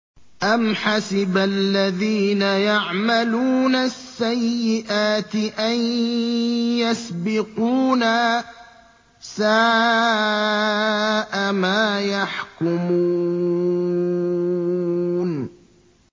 أَمْ حَسِبَ الَّذِينَ يَعْمَلُونَ السَّيِّئَاتِ أَن يَسْبِقُونَا ۚ سَاءَ مَا يَحْكُمُونَ